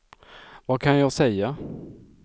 vad kan jag säga